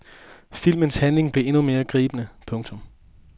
Filmens handling bliver endnu mere gribende. punktum